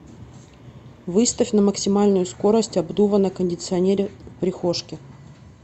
выставь на максимальную скорость обдува на кондиционере в прихожке